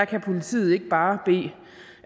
kan politiet ikke bare